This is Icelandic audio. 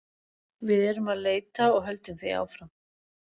Við erum að leita og höldum því áfram.